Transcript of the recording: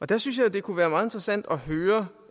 der synes jeg at det kunne være meget interessant at høre